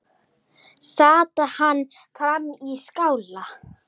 Sat hann frammi í skála.